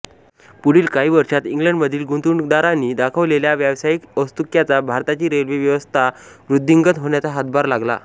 पुढील काही वर्षात इंग्लंडमधील गुंतवणूकदारांनी दाखवलेल्या व्यावसायिक औत्सुक्याचा भारताची रेल्वे व्यवस्था वृद्धिंगत होण्यात हातभार लागला